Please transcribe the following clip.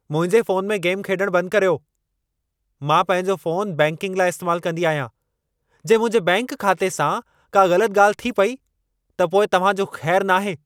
मुंहिंजे फ़ोन में गेम खेॾण बंदि करियो। मां पंहिंजो फ़ोन बैंकिंग लाइ इस्तेमालु कंदी आहियां। जे मुंहिंजे बैंकि खाते सां का ग़लतु ॻाल्हि थी पई, त पोइ तव्हां जो ख़ैरु नाहे।